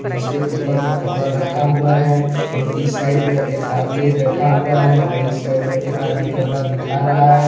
जिसके ऊपर में कपड़ा रखा हुआ है और इस साइड में एक आदमी बैठा हुआ है और इस साइड में एक आदमी कपड़ा दिखा रहा है।